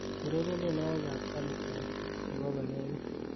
ureren tienywogikab khaligraph chebo konegit